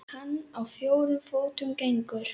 Hann á fjórum fótum gengur.